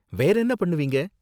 வேறென்ன பண்ணுவீங்க?